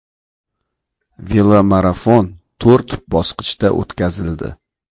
Velomarafon to‘rt bosqichda o‘tkazildi.